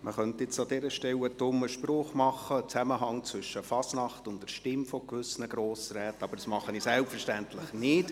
Man könnte an dieser Stelle einen Zusammenhang zwischen der Fasnacht und der Stimme gewisser Grossräte unterstellen, aber das mache ich selbstverständlich nicht.